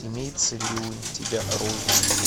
имеется ли у тебя роузвуд